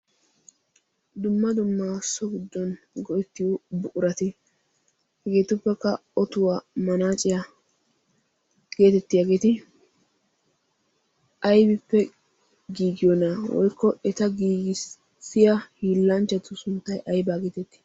dumma dummaasso guddon goittiyo buurati hegeetuppekka otuwaa manaaciyaa geetettiyaageeti aybippe giigiyoona woykko eta giigissiya hiillanchchatu sunttai aibaa geetettii?